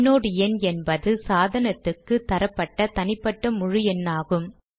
inode எண் என்பது சாதனத்துக்கு தரப்பட்ட தனிப்பட்ட முழு எண்ணாகும்